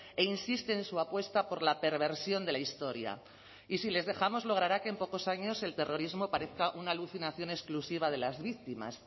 e insiste en su apuesta por la perversión de la historia y si les dejamos logrará que en pocos años el terrorismo parezca una alucinación exclusiva de las víctimas